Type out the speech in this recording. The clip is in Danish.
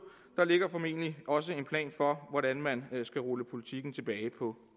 der ligger formentlig også en plan for hvordan man skal rulle politikken tilbage på